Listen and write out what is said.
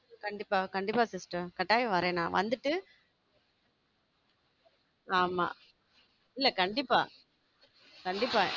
கண்டிப்பா கண்டிப்பா sister கட்டாயம் வர்றேன் நான் வந்துட்டு ஆமா இல்ல கண்டிப்பா கண்டிப்பா